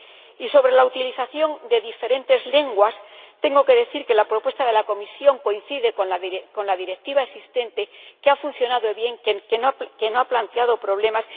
Y sobre la utilización de diferentes lenguas, tengo que decir que la propuesta de la Comisión coincide con la Directiva existente, que ha funcionado bien y no ha planteado problemas.